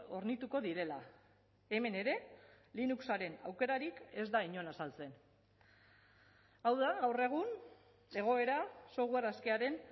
hornituko direla hemen ere linuxaren aukerarik ez da inon azaltzen hau da gaur egun egoera software askearen